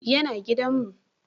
Ya na gidan mu